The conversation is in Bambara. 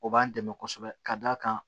O b'an dɛmɛ kosɛbɛ ka d'a kan